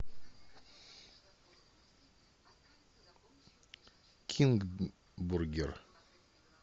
кинг бургер